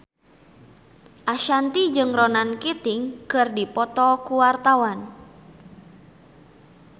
Ashanti jeung Ronan Keating keur dipoto ku wartawan